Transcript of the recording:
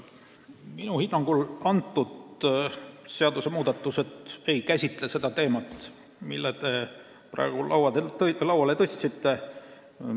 Minu hinnangul need seadusmuudatused ei käsitle seda teemat, mille te praegu lauale tõstsite.